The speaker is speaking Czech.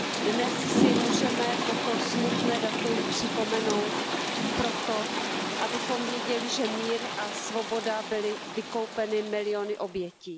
Dnes si můžeme toto smutné datum připomenout proto, abychom věděli, že mír a svoboda byly vykoupeny miliony obětí.